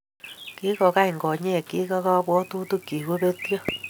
Kikokany konyekchi ak kabwatutikchi kobetyo